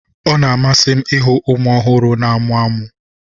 ọ na-amasị m ịhụ ụmụ ọhụrụ na-amụmụ ọnụ ọchị